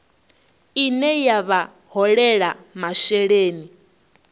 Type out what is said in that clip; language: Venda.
ine ya vha holela masheleni